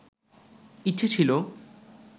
ইচ্ছে ছিলো